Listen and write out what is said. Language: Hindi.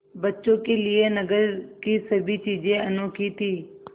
बच्चों के लिए नगर की सभी चीज़ें अनोखी थीं